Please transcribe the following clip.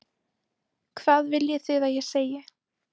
Hvað viljið þið að ég segi?